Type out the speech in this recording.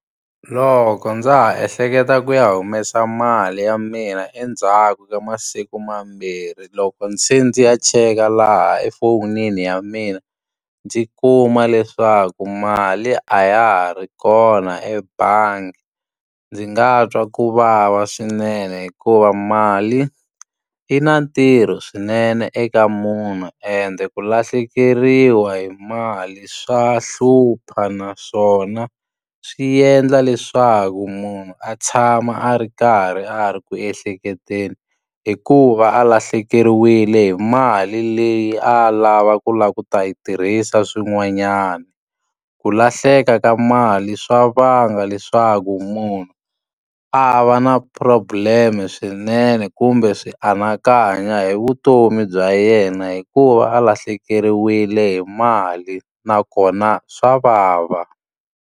Loko ndza ha ehleketa ku ya humesa mali ya mina endzhaku ka masiku mambirhi loko ndzi ze ndzi ya cheka laha efonini ya mina, ndzi kuma leswaku mali a ya ha ri kona ebangi. Ndzi nga twa ku vava swinene hikuva mali, yi na ntirho swinene eka munhu ende ku lahlekeriwa hi mali swa hlupha. Naswona swi endla leswaku munhu a tshama a ri karhi a ri ku ehleketeni, hikuva a lahlekeriwile hi mali leyi a lavaka ku lava ku ta yi tirhisa swin'wanyana. Ku lahleka ka mali swa vanga leswaku munhu a va na problem-e swinene kumbe swi anakanya hi vutomi bya yena hikuva a lahlekeriwile hi mali, nakona swa vava.